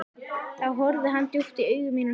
Þá horfði hann djúpt í augu mín og sagði